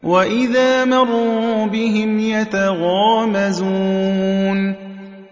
وَإِذَا مَرُّوا بِهِمْ يَتَغَامَزُونَ